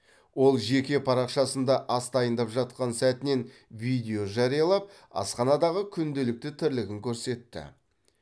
ол жеке парақшасында ас дайындап жатқан сәтінен видео жариялап асханадағы күнделікті тірлігін көрсетті